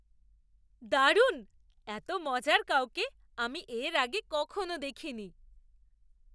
দারুণ! এত মজার কাউকে আমি এর আগে কখনো দেখিনি!